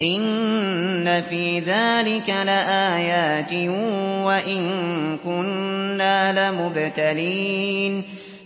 إِنَّ فِي ذَٰلِكَ لَآيَاتٍ وَإِن كُنَّا لَمُبْتَلِينَ